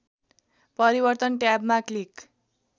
परिवर्तन ट्याबमा क्लिक